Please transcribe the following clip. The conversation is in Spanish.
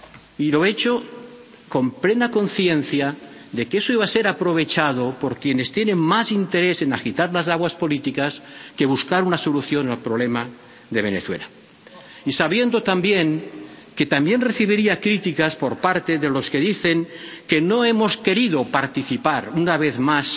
Y lo he hecho con plena conciencia de que eso iba a ser aprovechado por quienes tienen más interés en agitar las aguas políticas que en buscar una solución al problema de Venezuela, y sabiendo, también, que también recibiría críticas por parte de los que dicen que no hemos querido participar, una vez